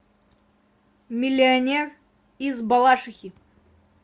миллионер из балашихи